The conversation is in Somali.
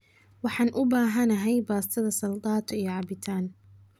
Waxaan u baahanahay baastada saldato iyo cabitan